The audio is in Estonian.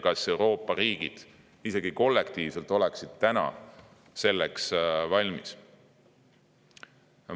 Kas Euroopa riigid isegi kollektiivselt oleksid praegu selleks valmis?